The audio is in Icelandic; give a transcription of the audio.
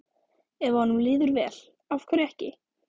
Ef að honum líður vel, af hverju ekki?